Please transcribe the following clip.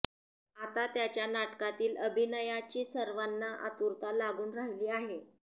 आता त्याच्या नाटकातील अभिनयाची सर्वांना आतुरता लागून राहिली आहे